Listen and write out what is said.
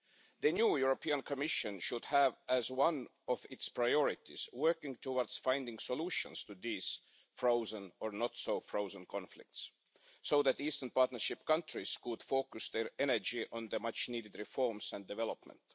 The new European Commission should have as one of its priorities working towards finding solutions to these frozen, or not so frozen, conflicts, so that the Eastern Partnership countries can focus their energy on the much needed reforms and development.